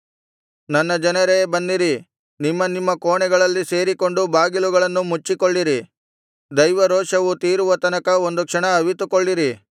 ನನ್ನ ಜನರೇ ಬನ್ನಿರಿ ನಿಮ್ಮ ನಿಮ್ಮ ಕೋಣೆಗಳಲ್ಲಿ ಸೇರಿಕೊಂಡು ಬಾಗಿಲುಗಳನ್ನು ಮುಚ್ಚಿಕೊಳ್ಳಿರಿ ದೈವರೋಷವು ತೀರುವ ತನಕ ಒಂದು ಕ್ಷಣ ಅವಿತುಕೊಳ್ಳಿರಿ